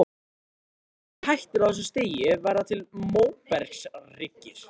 Ef gosið hættir á þessu stigi verða til móbergshryggir.